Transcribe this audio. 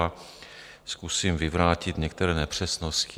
A zkusím vyvrátit některé nepřesnosti.